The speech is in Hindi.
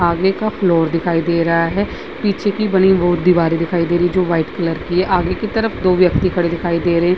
आगे का फ्लोर दिखाई दे रहा है। पीछे की बनी बोर्ड दिवारे दिखाई दे रही है जो वाइट कलर की है। आगे की तरफ दो व्यक्ति खड़े दिखाई दे रहे हैं।